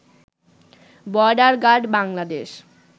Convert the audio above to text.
border guard Bangladesh